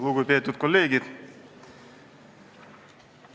Lugupeetud kolleegid!